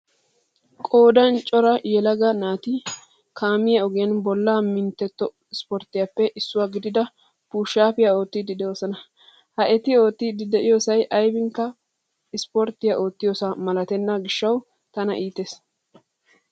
Qoodan cora yelaga naati kaamiya ogiyan bolla mintteto sporttetuppe issuwa gidida pushaappiya oottidi doosona. Ha eti oottidi diyosay aybiinkka aporttiya oottiyosaa malatenna gishshawu tan iitees.